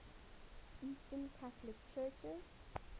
eastern catholic churches